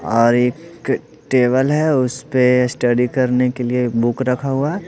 और एक टेबल है उस पे स्टडी करने के लिए बुक रखा हुआ है।